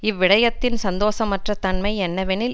இவ்விடயத்தின் சந்தோசமற்ற தன்மை என்னவெனில்